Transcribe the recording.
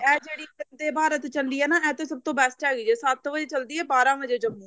ਐ ਤੇ ਜਿਹੜੀ ਵੰਦੇ ਭਾਰਤ ਚੱਲੀ ਹੈ ਨਾ ਐ ਤੇ ਸਭ ਤੋਂ best ਹੈਗੀ ਐ ਸੱਤ ਵਜੇ ਚੱਲਦੀ ਐ ਬਾਰਾਂ ਵੱਜ ਜੰਮੂ